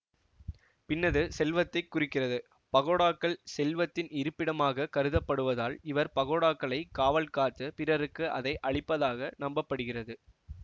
பின்னது செல்வத்தை குறிக்கிறது பகோடாக்கள் செல்வத்தின் இருப்பிடமாக கருதப்படுவதால் இவர் பகோடாக்களை காவல் காத்து பிறருக்கு அதை அளிப்பதாக நம்ப படுகிறது